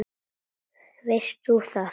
Veist þú það?